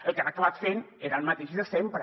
el que han acabat fent era el mateix de sempre